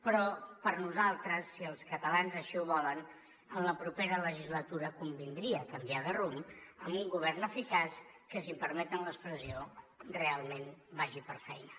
però per nosaltres si els catalans així ho volen en la propera legislatura convindria canviar de rumb amb un govern eficaç que si em permeten l’expressió realment vagi per feina